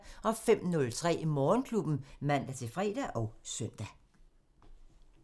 05:03: Morgenklubben (man-fre og søn)